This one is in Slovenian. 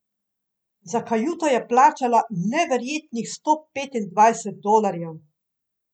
Za kajuto je plačala neverjetnih sto petindvajset dolarjev!